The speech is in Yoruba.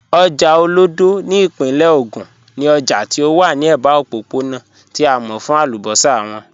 Ojá Olódo ni ipinle Ogun ni òjá tí ó wà ni ẹba ọ̀pọ̀pọ̀na tí a mọ̀ fún àlúbọ́ṣà wọn.